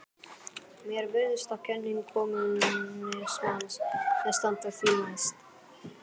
Mér virðist að kenning kommúnismans standi því næst.